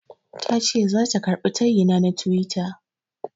Tace zata karɓi tayina na tiwita.